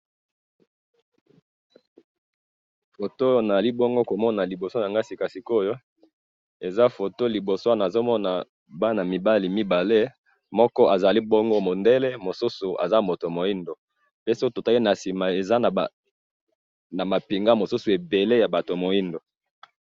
Na moni batu mibale baza ko yambana ,moko ya moindo mosusu ya mundele na sima na bango mapinga ya bato moindo.